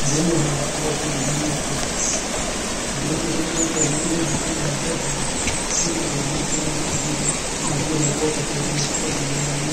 Ũndũ ũmwe haha wa kũngenia nĩ atĩ mũndũ ũcio nĩ akorwo, nĩ ehotanĩra mbeca na mathĩna make nĩ mathira, mathirĩ nĩ akũhota kũ deal namo